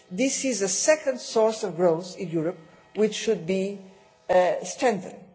This is the second source of growth in Europe which should be strengthened.